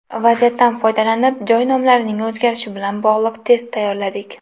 Vaziyatdan foydalanib, joy nomlarining o‘zgarishi bilan bog‘liq test tayyorladik.